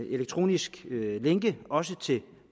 elektroniske lænke også til